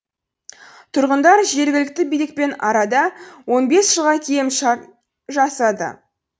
тұрғындар жергілікті билікпен арада он бес жылға келімшарт жасады